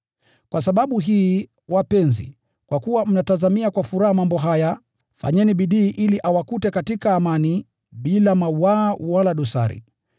Kwa sababu hii, wapenzi, kwa kuwa mnatazamia mambo haya, fanyeni bidii ili awakute katika amani, bila mawaa wala dosari.